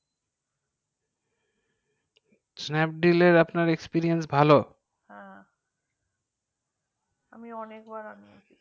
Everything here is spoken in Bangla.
snapdeal এ আপনার experience ভালো হাঁ আমি অনেক বার আনিয়েছি